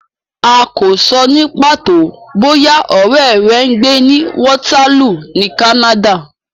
A kò sọ ní pàtó bóyá ọ̀rẹ́ rẹ ń gbé ní Waterloo ní Canada.